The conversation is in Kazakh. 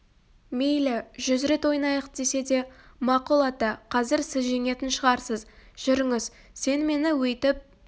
мейлі жүз рет ойнайық десе де мақұл ата қазір сіз жеңетін шығарсыз жүріңіз сен мені өйтіп